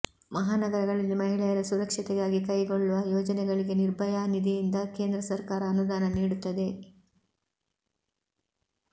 ಮಹಾನಗರಗಳಲ್ಲಿ ಮಹಿಳೆಯರ ಸುರಕ್ಷತೆಗಾಗಿ ಕೈಗೊಳ್ಳುವ ಯೋಜನೆಗಳಿಗೆ ನಿರ್ಭಯಾ ನಿಧಿಯಿಂದ ಕೇಂದ್ರ ಸರ್ಕಾರ ಅನುದಾನ ನೀಡುತ್ತದೆ